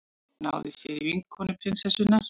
Náði sér í vinkonu prinsessunnar